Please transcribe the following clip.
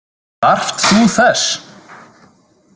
Þarft þú þess?